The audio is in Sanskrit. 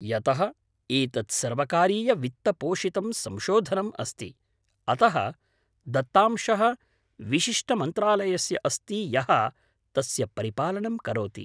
यतः एतत् सर्वकारीयवित्तपोषितं संशोधनम् अस्ति, अतः दत्तांशः विशिष्टमन्त्रालयस्य अस्ति यः तस्य परिपालनं करोति।